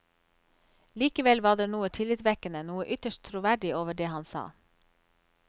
Likevel var det noe tillitvekkende, noe ytterst troverdig over det han sa.